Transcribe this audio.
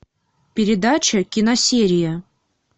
передача киносерия